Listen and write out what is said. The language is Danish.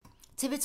TV 2